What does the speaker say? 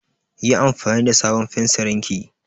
Yi anfani da sabon fensirin ki!